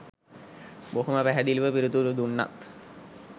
බොහොම පැහැදිලිව පිළිතුරු දුන්නත්